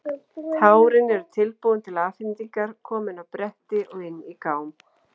Tárin eru tilbúin til afhendingar, komin á bretti og inn í gám.